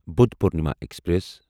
Buddha Purnima express